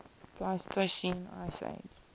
pleistocene ice age